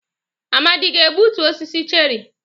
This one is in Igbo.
Amadi ga-egbutu osisi cherrị?